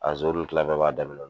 A zon kila bɛɛ b'a daminɛ.